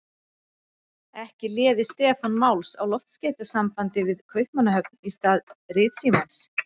Ekki léði Stefán máls á loftskeytasambandi við Kaupmannahöfn í stað ritsímans.